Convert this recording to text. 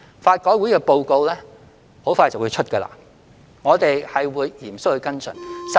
法改會的報告快將發表，我們會嚴肅跟進。